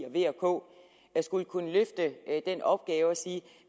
og v og k skulle kunne løfte den opgave at sige